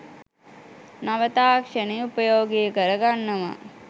නව තාක්ෂණය උපයෝගී කර ගන්නවා